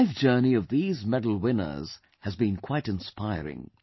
The life journey of these medal winners has been quite inspiring